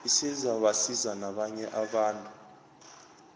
isezabasiza nabanye abantu